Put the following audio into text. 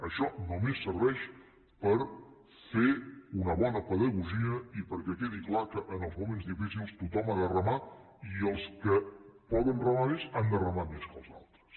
això només serveix per fer una bona pedagogia i perquè quedi clar que en els moments difícils tothom ha de remar i els que poden remar més han de remar més que els altres